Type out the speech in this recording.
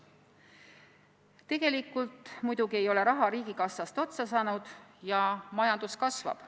Tegelikult ei ole raha muidugi riigikassast otsa saanud ja majandus kasvab.